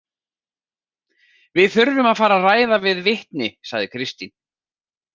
Við þurfum að fara að ræða við vitni, sagði Kristín.